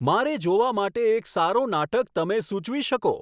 મારે જોવા માટે એક સારો નાટક તમે સુચવી શકો